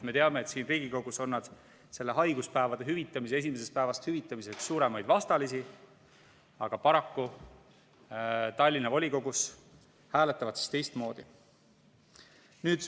Me teame, et siin Riigikogus on nad selle haiguspäevade esimesest päevast hüvitamise suuremaid vastalisi, aga paraku Tallinna volikogus hääletavad teistmoodi.